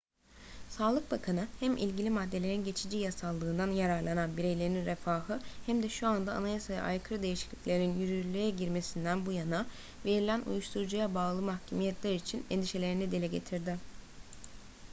sağlık bakanı hem ilgili maddelerin geçici yasallığından yararlanan bireylerin refahı hem de şu anda anayasaya aykırı değişikliklerin yürürlüğe girmesinden bu yana verilen uyuşturucuya bağlı mahkumiyetler için endişelerini dile getirdi